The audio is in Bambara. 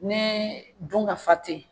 Ni dun ka fa teyi